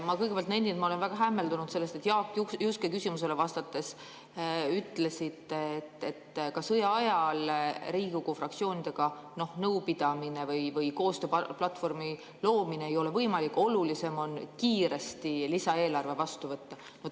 Ma kõigepealt nendin, et ma olen väga hämmeldunud sellest, et te Jaak Juske küsimusele vastates ütlesite, et ka sõja ajal ei ole Riigikogu fraktsioonidega nõupidamine või koostööplatvormi loomine võimalik, et olulisem on lisaeelarve kiiresti vastu võtta.